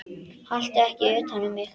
Haltu ekki utan um mig.